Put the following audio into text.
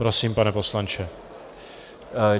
Prosím, pane poslanče.